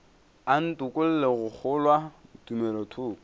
a ntokolle go kgolwa tumelothoko